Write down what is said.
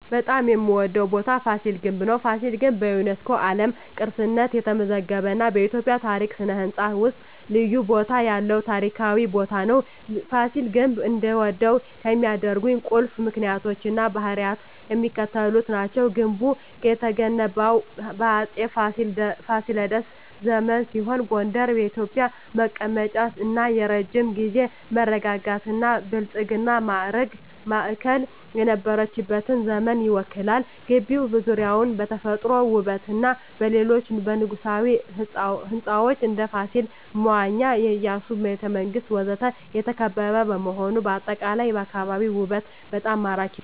በጣም የምዎደው ቦታ ፋሲል ግንብ ነው። ፋሲል ግንብ በዩኔስኮ የዓለም ቅርስነት የተመዘገበ እና በኢትዮጵያ ታሪክ እና ሥነ ሕንፃ ውስጥ ልዩ ቦታ ያለው ታሪካዊ ቦታ ነው። ፋሲል ግንብ እንድወደው ከሚያደርኝ ቁልፍ ምክንያቶች እና ባህሪያት የሚከተሉት ናቸው። ግንቡ የተገነባው በአፄ ፋሲለደስ ዘመን ሲሆን ጎንደር የኢትዮጵያ መቀመጫ እና የረጅም ጊዜ መረጋጋትና ብልጽግና ማዕከል የነበረችበትን ዘመን ይወክላል። ግቢው ዙሪያውን በተፈጥሮ ውበትና በሌሎች የንጉሣዊ ሕንፃዎች (እንደ ፋሲል መዋኛ፣ የኢያሱ ቤተ መንግስት ወዘተ) የተከበበ በመሆኑ አጠቃላይ የአካባቢው ውበት በጣም ማራኪ ነው። …